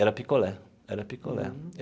Era picolé, era picolé.